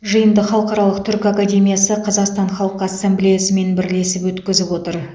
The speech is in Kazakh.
жиынды халықаралық түркі академиясы қазақстан халқы ассамблеясымен бірлесіп өткізіп отыр